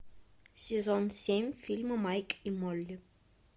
сезон семь фильма майк и молли